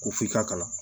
Ko f'i k'a kalan